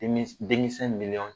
Denmi demisɛn miliɲɔn